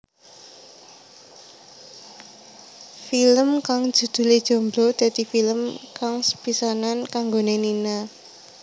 Film kang judhulé Jomblo dadi film kang sepisanan kanggoné Nina